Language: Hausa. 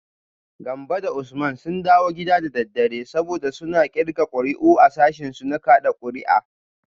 Gambo da Usman sun dawo gida da daddare, saboda suna kirga kuri’u a sashinsu na kada kuri’a